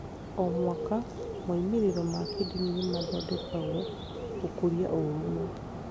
O mwaka, moimĩrĩro ma kĩndini nĩ mathondekagwo gũkũria ũrũmwe.